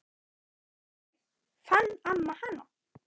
Þannig fann amma hana.